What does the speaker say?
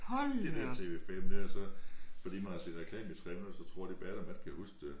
Det der TV5 det er så. Fordi man har set reklame i 3 minutter så tror de bagefter man ikke kan huske det